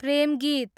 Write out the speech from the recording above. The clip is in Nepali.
प्रेमगीत